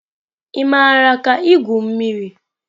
Ị maara ka igwu mmiri?